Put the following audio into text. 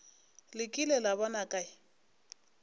le kile la bona kae